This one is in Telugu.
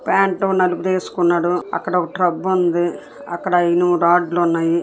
పాంటో నలుపేసుకున్నాడు అక్కడ ఒక టబ్బు ఉంది అక్కడ ఇనుము రాళ్లు ఉన్నాయి.